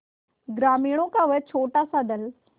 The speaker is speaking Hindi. ग्रामीणों का वह छोटासा दल